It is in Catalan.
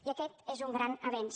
i aquest és un gran avenç